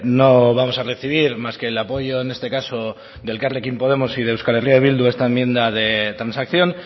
no vamos a recibir más que el apoyo en este caso de elkarrekin podemos y de euskal herria bildu a esta enmienda de transacción